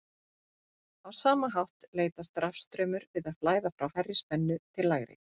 Á sama hátt leitast rafstraumur við að flæða frá hærri spennu til lægri.